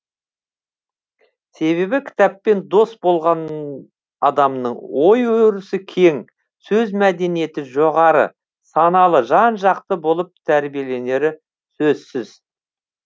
себебі кітаппен дос болған адамның ой өрісі кең сөз мәдениеті жоғары саналы жан жақты болып тәрбиеленері сөзсіз